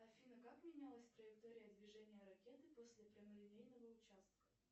афина как менялась траектория движения ракеты после прямолинейного участка